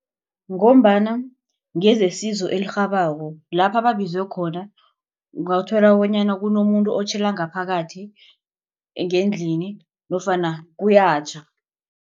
Ngombana ngezesizo elirhabako lapha ababizwe khona ungathola bonyana kunomuntu otjhela ngaphakathi ngendlini nofana kuyatjha.